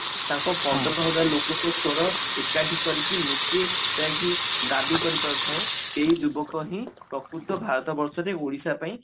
ତାଙ୍କ ପନ୍ଦର ହଜାର ଲୋକଙ୍କ ସ୍ଵର ଏକାଠି କରିକି ନିଜେ ଯାଇକି ଦାବି କରି ପାରୁଥାଏ ସେଇ ଯୁବକ ହିଁ ପକୃତ ଭାରତ ବର୍ଷରେ ଓଡିଶା ପାଇଁ